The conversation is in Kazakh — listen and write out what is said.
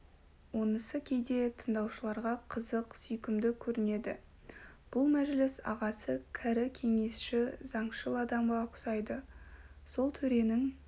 онысы кейде тыңдаушыларға қызық сүйкімді көрнеді бұл мәжіліс ағасы кәрі кеңесші заңшыл адамға ұқсайды сол төренің